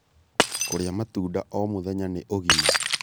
Kũrĩa matunda o mũthenya nĩ ũgima